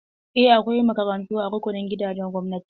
Eh, akwai makarantu a rukunin gidajen gwamnati.